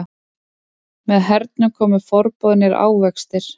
Með hernum komu forboðnir ávextir.